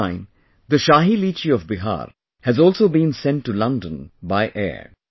This time the Shahi Litchi of Bihar has also been sent to London by air